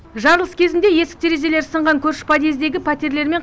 жарылыс кезінде есік терезелері сынған көрші подъездегі пәтерлер мен